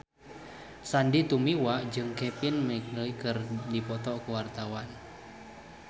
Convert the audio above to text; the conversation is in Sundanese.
Sandy Tumiwa jeung Kevin McNally keur dipoto ku wartawan